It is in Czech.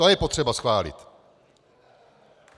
To je potřeba schválit.